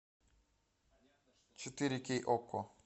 четыре кей окко